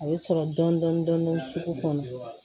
A bɛ sɔrɔ dɔɔnin dɔɔnin sugu kɔnɔ